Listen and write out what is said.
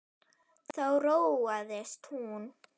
Þá róaðist hún.